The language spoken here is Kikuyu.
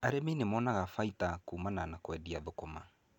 Arĩmi nimonaga baita kuumana na kũendia thũkũma.